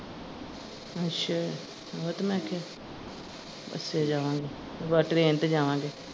ਅੱਛਾ ਓਹੋ ਤੇ ਮੈਂ ਆਖਿਆ ਬੱਸੇ ਜਾਵਾਂਗੇ ਬਸ train ਤੇ ਜਾਵਾਂਗੇ।